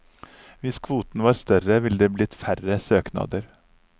Hvis kvoten var større, ville det blitt færre søknader.